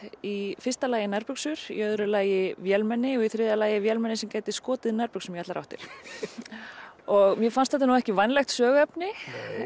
í fyrsta lagi nærbuxur í öðru lagi vélmenni og í þriðja lagi vélmenni sem gæti skotið nærbuxum í allar áttir mér fannst þetta nú ekki vænlegt söguefni